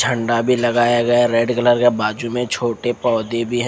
झंडा भी लगाया गया है बाजू की में छोटे पोधे भी है।